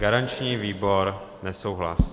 Garanční výbor: nesouhlas.